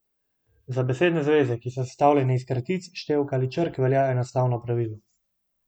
Za besedne zveze, ki so sestavljene iz kratic, števk ali črk, velja enostavno pravilo.